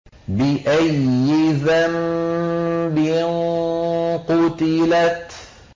بِأَيِّ ذَنبٍ قُتِلَتْ